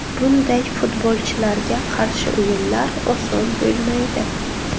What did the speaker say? Bunday futbolchilarga qarshi o‘yinlar oson bo‘lmaydi.